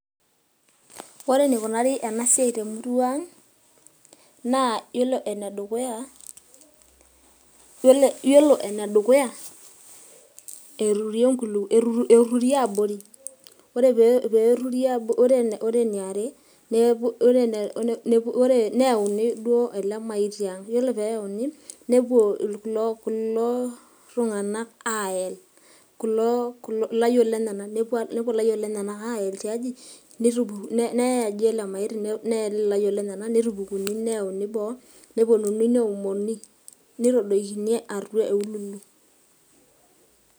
ore eneikunari ena siai temurua ang'.naa iyolo ene dukuya, eturi abori. ore pee eturi, neyauni ele maiti ang'ore pee eyauni nepuo kulo tunganak aayel, ilayiok lenyenak, aayel tiaji, neyae aji ele maiti, neel ilayiok lenyanak ,neyauni boo nepuonunui neomoni. nitadoikini atua eululu.